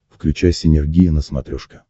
включай синергия на смотрешке